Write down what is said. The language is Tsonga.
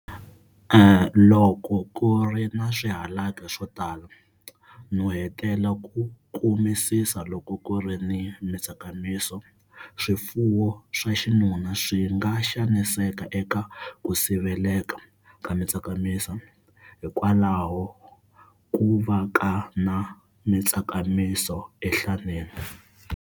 Loko ku ri na swihalaki swo tala, nuhetela ku kumisisa loko ku ri mitsakamiso, swifuwo swa xinuna swi nga xaniseka eka ku siveleka ku tsakamiso, hikwalaho ku va ka na mitsakamiso enhlaneni.